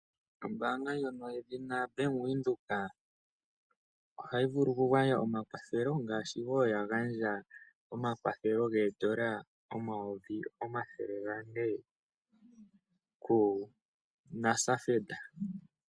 Ombaanga ndjono yedhuna Bank Windhoek ohayi vulu okugandja omakwathelo ngaashi wo ya gandja omakwathelo geedola omayovi omathele gane kuNASFED.